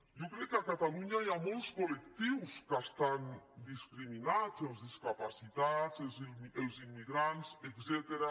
jo crec que a catalunya hi ha molts col·lectius que estan discriminats els discapacitats els immigrants etcètera